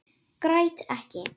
Græt ekki.